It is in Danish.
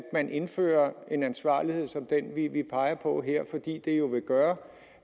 man indfører en ansvarlighed som den vi peger på her fordi det jo vil gøre